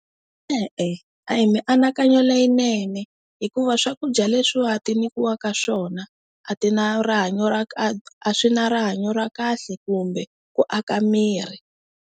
E-e, a hi mianakanyo leyinene hikuva swakudya leswiwani ti nyikiwaka swona a ti na rihanyo ra a swi na rihanyo ra kahle kumbe ku aka miri.